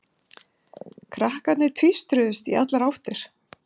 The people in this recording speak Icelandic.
Krakkarnir tvístruðust í allar áttir.